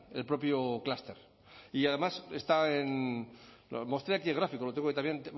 el propio clúster y además está en mostré aquí el gráfico lo tengo ahí también